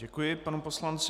Děkuji panu poslanci.